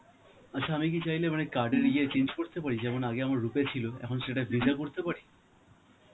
আচ্ছা আমি কি চাইলে মানে card এর ইয়ে change করতে পারি? যেমন আগে আমার rupay ছিল, এখন সেটা visa করতে পারি?